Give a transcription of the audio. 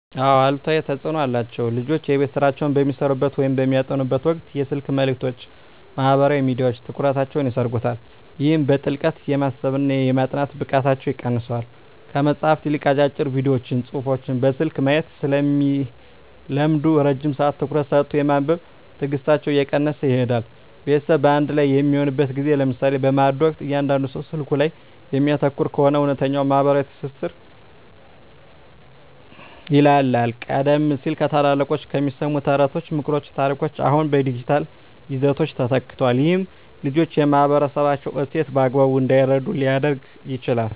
አዎ አሉታዊ ተፅኖ አለው። ልጆች የቤት ሥራቸውን በሚሠሩበት ወይም በሚያጠኑበት ወቅት የስልክ መልእክቶችና ማኅበራዊ ሚዲያዎች ትኩረታቸውን ይሰርቁታል። ይህም በጥልቀት የማሰብና የማጥናት ብቃታቸውን ይቀንሰዋል። ከመጽሐፍት ይልቅ አጫጭር ቪዲዮዎችንና ጽሑፎችን በስልክ ማየት ስለሚለምዱ፣ ረጅም ሰዓት ትኩረት ሰጥቶ የማንበብ ትዕግሥታቸው እየቀነሰ ይሄዳል። ቤተሰብ በአንድ ላይ በሚሆንበት ጊዜ (ለምሳሌ በማዕድ ወቅት) እያንዳንዱ ሰው ስልኩ ላይ የሚያተኩር ከሆነ፣ እውነተኛው ማኅበራዊ ትስስር ይላላል። ቀደም ሲል ከታላላቆች የሚሰሙ ተረቶች፣ ምክሮችና ታሪኮች አሁን በዲጂታል ይዘቶች ተተክተዋል። ይህም ልጆች የማኅበረሰባቸውን እሴት በአግባቡ እንዳይረዱ ሊያደርግ ይችላል።